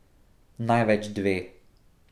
Največ dve.